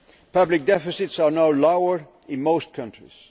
Public deficits are now lower in most countries.